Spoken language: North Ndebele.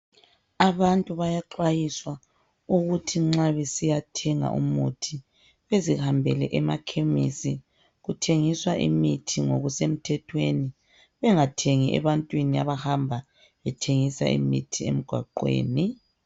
Abantu bayaxwayiswa ukuthi nxa besiyathenga umuthi bezihambele emakhemisi kuthengiswa imithi ngokusemthethweni bengathengi ebantwini abahamba bethengisa imithi emgwaqeni.